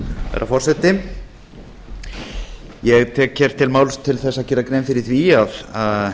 herra forseti ég tek til máls til að gera grein fyrir því að